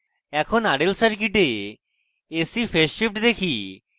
এখন rl circuit ac phase shift দেখি